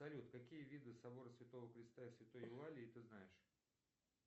салют какие виды собора святого христа и святой евалии ты знаешь